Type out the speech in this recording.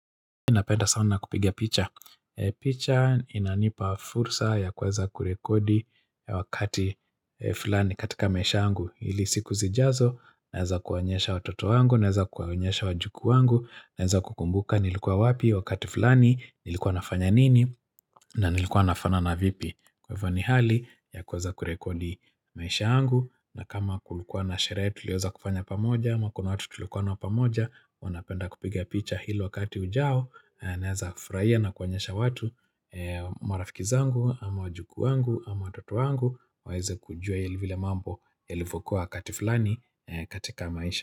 Napenda sana kupiga picha. Picha inanipa fursa ya kuweza kurekodi wakati fulani katika maisha yangu. Ili siku zijazo, naeza kuwanyesha watoto wangu, naeza kuwanyesha wajukuu wangu, naeza kukumbuka nilikuwa wapi wakati fulani, nilikuwa nafanya nini, na nilikuwa nafanana vipi. Kwa hivyo ni hali ya kuweza kurekodi maisha yangu na kama kulikuwa na sherehe tuliweza kufanya pamoja, ama kuna watu tulikuwa nao pamoja, wanapenda kupiga picha hili wakati ujao naeza furahia na kuonyesha watu marafiki zangu ama wajukuu wangu ama watoto wangu waweze kujua vile mambo yalivyokuwa wakati fulani katika maisha.